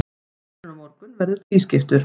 Þátturinn á morgun verður tvískiptur.